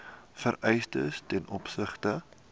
vereistes ten opsigte